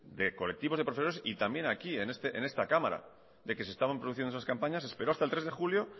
de colectivos de profesores y también aquí en esta cámara de que se estaban produciendo esas campañas esperó hasta el tres de julio